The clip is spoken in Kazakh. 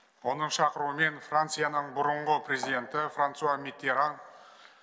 оның шақыруымен францияның бұрынғы президенті франсуа миттеран